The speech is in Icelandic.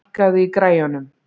Mikjáll, lækkaðu í græjunum.